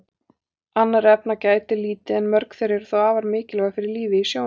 Annarra efna gætir lítið en mörg þeirra eru þó afar mikilvæg fyrir lífið í sjónum.